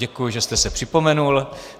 Děkuji, že jste se připomenul.